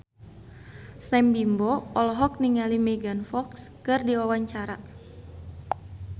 Sam Bimbo olohok ningali Megan Fox keur diwawancara